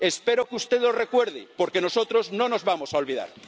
Espero que usted lo recuerde, porque nosotros no nos vamos a olvidar.